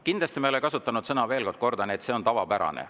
Kindlasti ma ei ole kasutanud sõna – veel kord kordan –, et see on tavapärane.